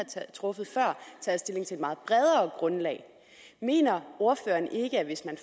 truffet før taget stilling til et meget bredere grundlag mener ordføreren ikke at hvis man